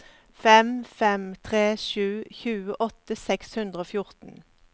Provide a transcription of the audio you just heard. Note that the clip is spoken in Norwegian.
fem fem tre sju tjueåtte seks hundre og fjorten